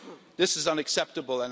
This is unacceptable.